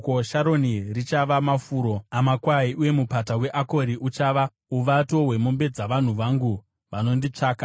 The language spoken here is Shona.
Sharoni richava mafuro amakwai, uye Mupata weAkori uchava uvato hwemombe dzavanhu vangu vanonditsvaka.